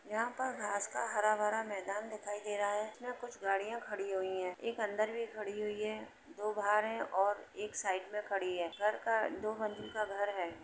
यहाँ पर घास का हरा भरा मैदान दिखाई दे रहा है। यहाँ कुछ गाड़ियां खड़ी हुई हैं। एक अंदर भी खड़ी हुई है दो बाहर हैं और एक साइड में खड़ी है। घर का दो मंजिल का घर है।